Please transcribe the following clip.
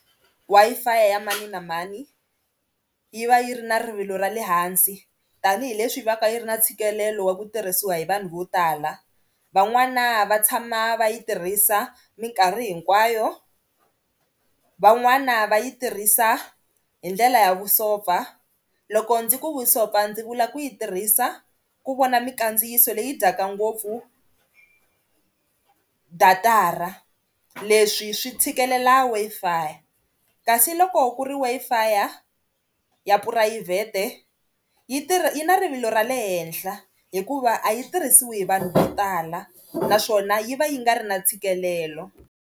Wi-Fi ya mani na mani yi va yi ri na rivilo ra le hansi tanihileswi va ka yi ri na ntshikelelo wa ku tirhisiwa hi vanhu vo tala. Van'wana va tshama va yi tirhisa minkarhi hinkwayo van'wana va yi tirhisa hi ndlela ya vusopfa loko ndzi ku vusopfa ndzi vula ku yi tirhisa ku vona mikandziyiso leyi dyaka ngopfu data-ra leswi swi tshikelela Wi-Fi ka si loko ku ri Wi-Fi ya phurayivhete yi tirha yi na rivilo ra le henhla hikuva a yi tirhisiwi hi vanhu vo tala naswona yi va yi nga ri na tshikelelo.